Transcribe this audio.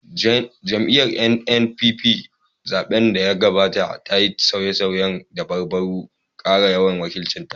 Jam’iyyar NNPP, a zaɓen da ya gabata, ta yi sauye-sauyen dabarun kara yawan wakilcin ta